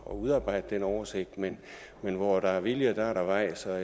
udarbejde den oversigt men hvor der er vilje er der vej så jeg